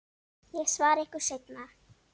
Ég svara ykkur seinna.